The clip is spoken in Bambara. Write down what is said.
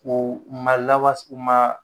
K'o ma lawa s u maa